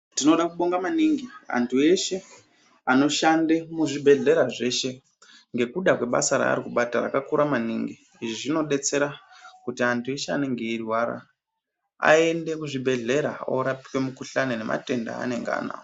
Tinoda kubonga maningi, antu eshe anoshande muzvibhedhlera zveshe. Ngekuda kwebasa raari kubata rakakura maningi. Izvi zvinobetsera kuti antu eshe anenge eirwara, aende kuzvibhedhlera orapwe mukuhlane nematenda eanenge anayo.